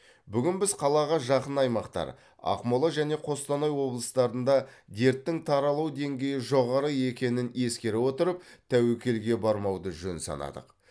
бүгін біз қалаға жақын аймақтар ақмола және қостанай облыстарында дерттің таралу деңгейі жоғары екенін ескере отырып тәуекелге бармауды жөн санадық